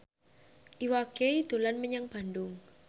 Iwa K dolan menyang Bandung